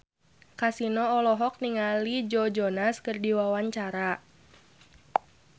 Kasino olohok ningali Joe Jonas keur diwawancara